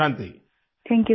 Vijayashanti ji thank you सिर